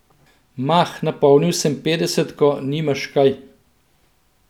Mah, napolnil sem petdesetko, nimaš kaj.